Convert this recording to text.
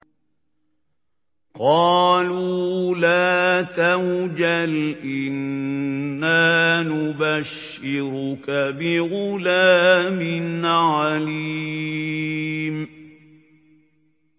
قَالُوا لَا تَوْجَلْ إِنَّا نُبَشِّرُكَ بِغُلَامٍ عَلِيمٍ